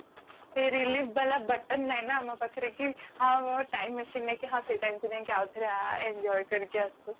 ସେଇ relieve ବାଲା button ନାହିଁ ନା ଆମ ପାଖରେ କି ହଁ time machine କୁ ନେଇକି ହଁ ସେଇ time କୁ ନେଇକି ଆଉ ଥରେ enjoy କରିକି ଆସୁ